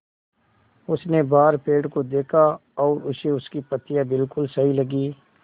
उसने बाहर पेड़ को देखा और उसे उसकी पत्तियाँ बिलकुल सही लगीं